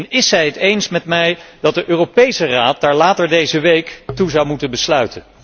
En is zij het met mij eens dat de Europese Raad daar later deze week toe zou moeten besluiten?